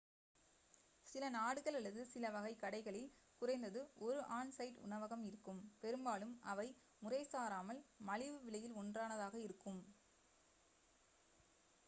சில நாடுகள் அல்லது சில வகை கடைகளில் குறைந்தது ஒரு ஆன்-சைட் உணவகம் இருக்கும் பெரும்பாலும் அவை முறைசாராமல் மலிவு விலையில் ஒன்றானதாக இருக்கும்